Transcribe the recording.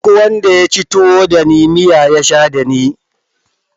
Mai mata ɗaya ba shi da nutsuwa